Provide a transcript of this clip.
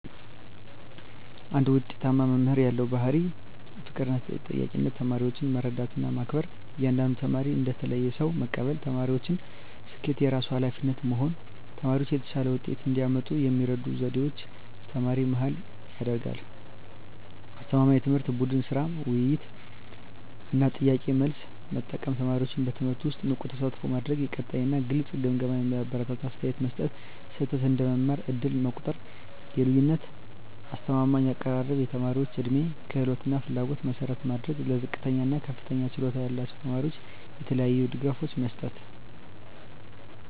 አንድ ውጤታማ መምህር ያለው ዋና ባሕርይ ፍቅርና ተጠያቂነት ተማሪዎችን መረዳትና መከበር እያንዳንዱን ተማሪ እንደ ተለየ ሰው መቀበል የተማሪዎችን ስኬት የራሱ ኃላፊነት መሆን ተማሪዎች የተሻለ ውጤት እንዲያመጡ የሚረዱ ዘዴዎች ተማሪ-መሃል ያደረገ አስተማማኝ ትምህርት ቡድን ሥራ፣ ውይይት እና ጥያቄ–መልስ መጠቀም ተማሪዎችን በትምህርቱ ውስጥ ንቁ ተሳትፎ ማድረግ የቀጣይ እና ግልጽ ግምገማ የሚያበረታታ አስተያየት መስጠት ስህተት እንደ መማር ዕድል መቆጠር የልዩነት አስተማማኝ አቀራረብ የተማሪዎች ዕድሜ፣ ክህሎት እና ፍላጎት መሠረት ማድረግ ለዝቅተኛ እና ለከፍተኛ ችሎታ ያላቸው ተማሪዎች የተለያዩ ድጋፎች መስጠት